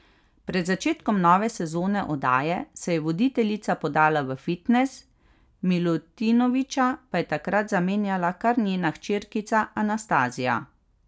Pred začetkom nove sezone oddaje se je voditeljica podala v fitnes, Milutinoviča pa je takrat zamenjala kar njena hčerkica Anastazija.